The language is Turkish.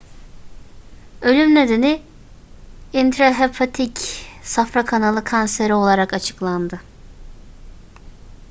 ölüm nedeni intrahepatik safra kanalı kanseri olarak açıklandı